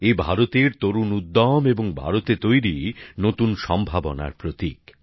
এটি ভারতের তরুণ উদ্যম এবং ভারতে তৈরি নতুন সম্ভাবনার প্রতীক